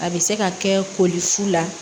A bɛ se ka kɛ koli fu la